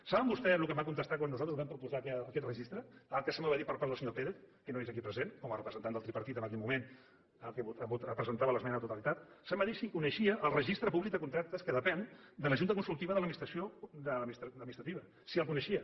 saben vostès el que em van contestar quan nosaltres vam proposar aquest registre el que se’m va dir per part del senyor pérez que no és aquí present com a representant del tripartit en aquell moment que presentava l’esmena a la totalitat se’m va dir si coneixia el registre públic de contractes que depèn de la junta consultiva de contractació administrativa si el coneixia